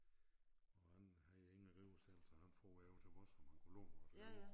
Og han havde ingen rive selv så han for jo over til os om han kunne låne vores rive